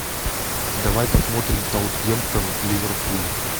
давай посмотрим саутгемптон ливерпуль